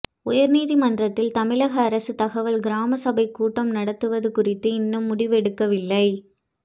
உயர் நீதிமன்றத்தில் தமிழக அரசு தகவல் கிராம சபை கூட்டம் நடத்துவது குறித்து இன்னும் முடிவு எடுக்கவில்லை